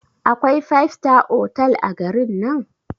Akwai five star otal a garin nan?